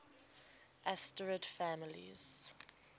asterid families